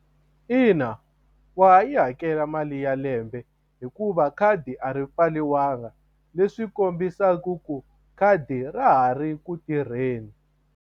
Ina wa ha yi hakela mali ya lembe hikuva khadi a ri pfariwanga leswi kombisaka ku khadi ra ha ri ku tirheni.